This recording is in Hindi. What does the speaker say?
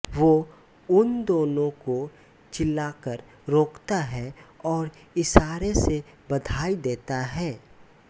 वो उन दोनों को चिल्ला कर रोकता है और इशारे से बधाई देता है